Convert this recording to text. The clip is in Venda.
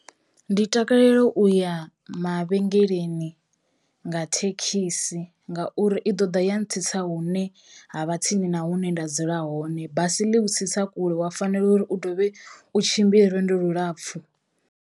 Ndi takalela uya mavhengeleni nga thekhisi ngauri i ḓo ḓa ya ntsitsa hune ha vha tsini na hune nda dzula hone, basi ḽi u tsitsa kule wa fanelo uri u dovhe u tshimbila lwendo lulapfu.